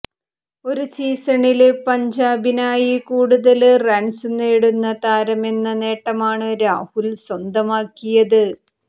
ഒരു സീസണില് പഞ്ചാബിനായി കൂടുതല് റണ്സ് നേടുന്ന താരമെന്ന നേട്ടമാണ് രാഹുല് സ്വന്തമാക്കിയത്